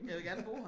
Jeg vil gerne bo her